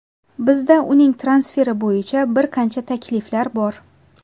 Bizda uning transferi bo‘yicha bir qancha takliflar bor.